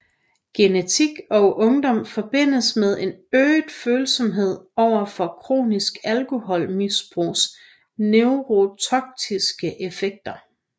Genetik og ungdom forbindes med en øget følsomhed overfor kronisk alkoholmisbrugs neurotoksiske effekter